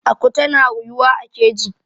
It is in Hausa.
aku tana ruyuwa a keji